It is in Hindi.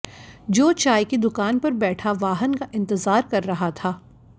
जो चाय की दुकान पर बैठा वाहन का इंतजार कर रहा था